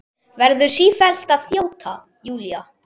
Verður sífellt að þjóta, Júlía.